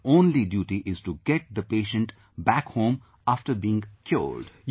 And, our only duty is to get the patient back home after being cured